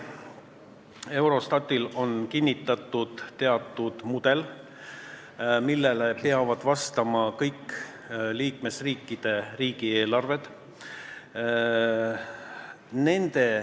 Eurostatil on kinnitatud teatud mudel, millele peavad vastama kõikide liikmesriikide riigieelarved.